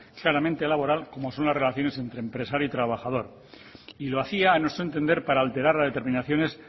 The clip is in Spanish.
claramente laboral como son las relaciones entre empresario y trabajador y lo hacía a nuestro entender para alterar las determinaciones